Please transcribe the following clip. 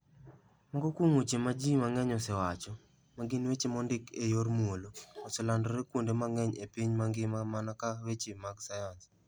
Moko kuom weche ma ji mang'eny osewacho, ma gin weche mondik e yor muolo, oselandore kuonde mang'eny e piny mangima mana ka weche mag sayans.